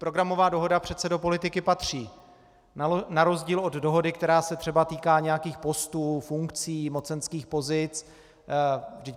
Programová dohoda přece do politiky patří na rozdíl od dohody, která se třeba týká nějakých postů, funkcí, mocenských pozic.